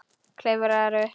Klifrar upp.